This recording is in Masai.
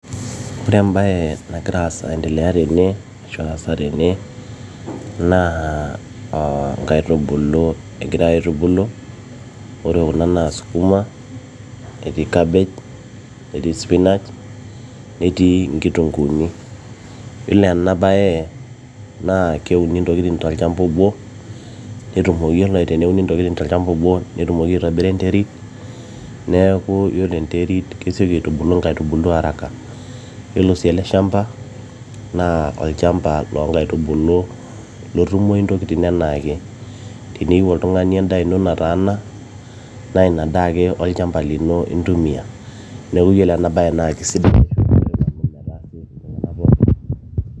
ore embaye nagira aendelea ashu nagira aasa tene naa inkaitubulu egiray aitubulu ore kuna naa skuma, etii cabbage, etii spinach etii inkitunguuni yiolo ena baye naa keuni ntokitin tolchamba obo netumoki yiolo teneuni intokitin tolchamba obo netumoki aitobira enterit neeku yiolo enterit kesioki aitubulu inkaitubulu araka yiolo sii ele shamba naa olchamba loonkaitubulu metumoyu intokitin enaake tiniyieu oltung'ani endaa ino nataana naa ina daa ake olchamba lino intumia neeku yiolo ena baye naa kisidai oleng.